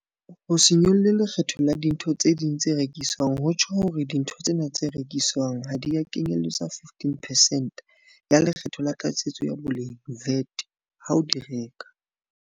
Ho se nyolle lekgetho la dintho tse ding tse rekiswang ho tjho hore dintho tsena tse rekiswang ha di a kenyeletswa 15 percent ya Le kgetho la Tlatsetso ya Boleng VAT ha o di reka.